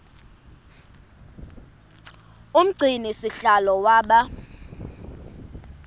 umgcini sihlalo waba